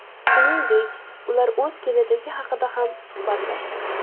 Shuningdek, ular o‘z kelajagi haqida ham suhbatlashdi.